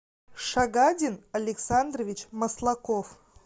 шагадин александрович маслаков